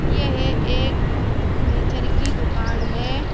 यह एक फर्नीचर की दुकान है।